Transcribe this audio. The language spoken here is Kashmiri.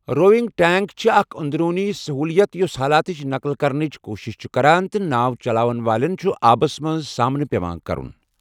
رووِٮٔنٛگ ٹینک چھُ اکھ اندروٗنی سہولت یُس حالاتٕچ نقل کرنٕچ کوٗشش چھُ کران تہٕ ناو چلاوَن وٲلٮ۪ن چھُ آبَس منٛز سامنہٕ پٮ۪وان کرُن۔